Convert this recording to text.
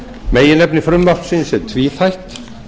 meginefni frumvarpsins er tvíþætt